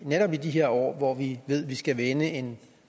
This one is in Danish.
netop i de her år hvor vi ved at vi skal vende en